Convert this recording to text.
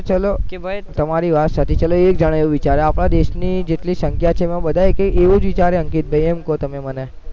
ચલો તમારી વાત સાચી ચલો એક જણા એવું વીચારે આપણા દેશની જેટલી સંખ્યા છે એ બધા એ જ વિચારે અંકિતભાઈ એમ કહો તમે મને